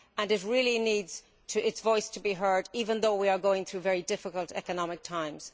It really needs its voice to be heard, even though we are going through very difficult economic times.